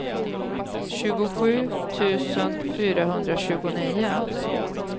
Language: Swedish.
tjugosju tusen fyrahundratjugonio